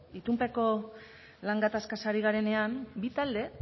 itunpeko lan gatazkaz ari garenean bi talde